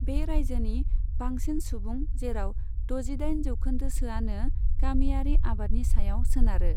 बे रायजोनि बांसिन सुबुं जेराव द'जिदाइन जौखोन्दोसोआनो गामियारि आबादनि सायाव सोनारो।